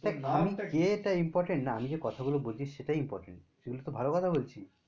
দেখ আমি কে তা important না আমি যে কথা গুলো বলছি সেটা important সেগুলো তো ভালো কথা বলছি।